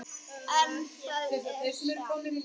En það er satt.